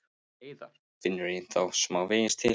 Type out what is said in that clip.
Heiðar finnur ennþá smávegis til.